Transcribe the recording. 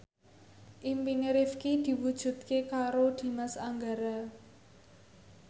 impine Rifqi diwujudke karo Dimas Anggara